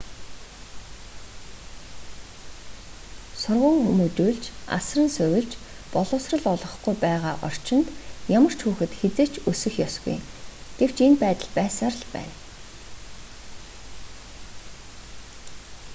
сурган хүмүүжүүлж асран сувилж боловсрол олгохгүй байгаа орчинд ямар ч хүүхэд хэзээ ч өсөх ёсгүй гэвч энэ байдал байсаар л байна